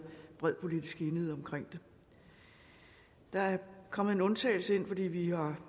bred politisk enighed omkring det der er kommet en undtagelse ind fordi vi har